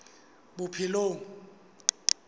bophelong